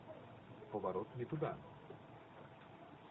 поворот не туда